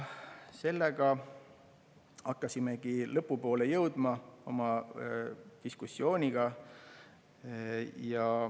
Ja hakkasimegi lõpu poole jõudma oma diskussiooniga.